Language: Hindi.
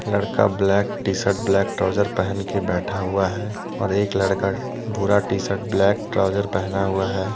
लड़का black T shirt black trouser पहन के बैठा हुआ है और एक लड़का भूरा टी शर्ट ब्लैक ट्राउजर पहना हुआ है।